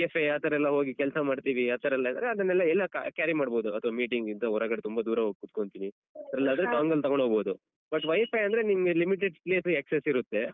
cafe ಆತರ ಎಲ್ಲ ಹೋಗಿ ಕೆಲ್ಸ ಮಾಡ್ತೀವಿ ಆತರ ಎಲ್ಲ ಇದ್ರೆ ಅದನ್ನೆಲ್ಲ ಎಲ್ಲ carry ಮಾಡ್ಬೋದು ಅಥವಾ meeting ಇದ್ದು ಹೊರಗಡೆ ತುಂಬ ದೂರ ಹೋಗ್ಕೂತ್ಕೋಂತೀನಿ ಇಲ್ಲಾದ್ರೆ dongle ತಗೊಂಡೋಗ್ಬೋದು but WiFi ಅಂದ್ರೆ ನಿಮ್ಗೆ limited place ಸು access ಇರುತ್ತೆ.